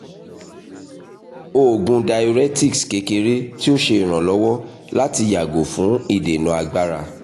oògùn diuretics kekere ti o ṣe iranlọwọ lati yago fun idena agbara